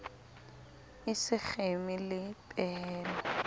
e se kgeme le pehelo